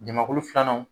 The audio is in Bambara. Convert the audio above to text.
Jamakulu filanan